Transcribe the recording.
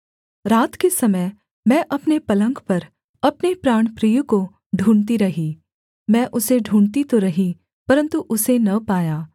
रात के समय मैं अपने पलंग पर अपने प्राणप्रिय को ढूँढ़ती रही मैं उसे ढूँढ़ती तो रही परन्तु उसे न पाया